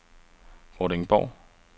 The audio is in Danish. Vordingborg